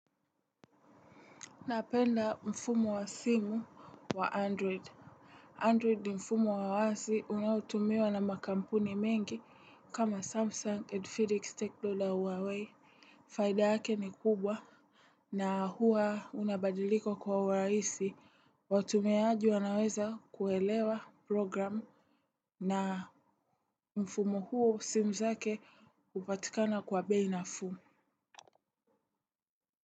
Napenda mfumo wa simu wa android. Android ni mfumo wa wazi unautumiwa na makampuni mengi kama samsung edphedic stakeholder huawei. Faida yake ni kubwa. Na huwa unabadilika kwa urahisi watumiaaji wanaweza kuelewa programu. Na mfumu huo simu zake upatikana kwa bei nafuu.